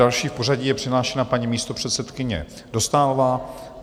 Další v pořadí je přihlášena paní místopředsedkyně Dostálová.